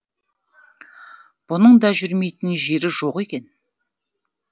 бұның да жүрмейтін жері жоқ екен